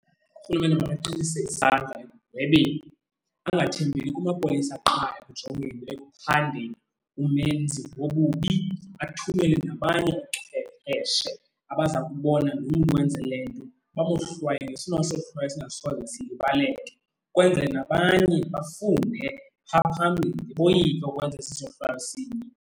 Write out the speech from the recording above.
Urhulumente makaqinise isandla ekugwebeni, angathembeli kumapolisa qha ekujongeni ekuphandeni umenzi wobubi. Athumele nabanye oochwepheshe abaza kubona lo mntu wenze le nto bamohlwaye ngesona sohlwayo esingasoze silibaleke ukwenzele nabanye bafunde phaa phambili, boyike ukwenza esi sohlwayo sinye.